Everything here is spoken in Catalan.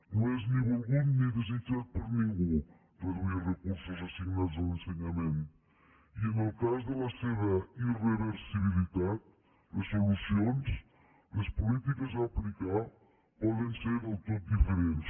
no és ni volgut ni desitjat per ningú reduir recursos assignats a l’ensenyament i en el cas de la seva irreversibilitat les solucions les polítiques a aplicar poden ser del tot diferents